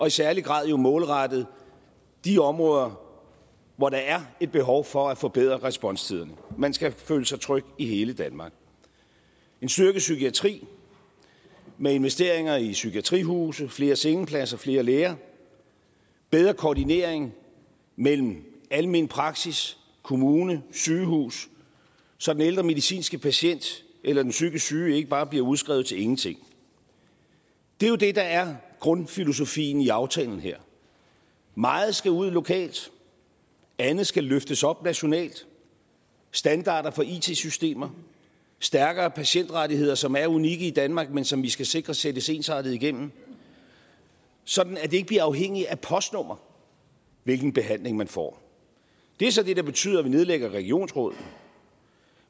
i særlig grad målrettet de områder hvor der er et behov for at forbedre responstiderne man skal føle sig tryg i hele danmark en styrket psykiatri med investeringer i psykiatrihuse flere sengepladser og flere læger en bedre koordinering mellem almen praksis kommune og sygehus så den ældre medicinske patient eller den psykisk syge ikke bare bliver udskrevet til ingenting det er jo det der er grundfilosofien i aftalen her meget skal ud lokalt og andet skal løftes op nationalt standarder for it systemer stærkere patientrettigheder som er unikke i danmark men som vi skal sikre sættes ensartet igennem sådan at det ikke bliver afhængigt af postnummeret hvilken behandling man får det er så det der betyder at vi nedlægger regionsrådene